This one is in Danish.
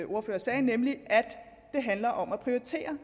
ordfører sagde nemlig at det handler om at prioritere